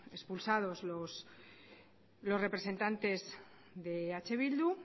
expulsados los representantes de eh bildu